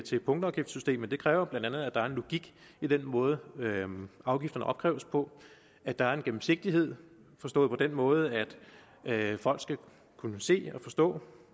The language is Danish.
til punktafgiftssystemet kræver bla at der er en logik i den måde som afgifterne opkræves på at der er en gennemsigtighed forstået på den måde at folk skal kunne se og forstå